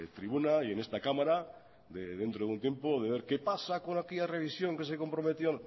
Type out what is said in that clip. tribuna y en esta cámara dentro de un tiempo de ver qué pasa de aquella revisión que se comprometieron